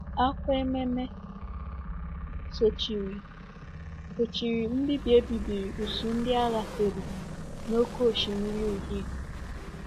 Akwa ememe sochiri sochiri mbibi e bibiri usuu ndị agha Fero n’Oké Osimiri Uhie.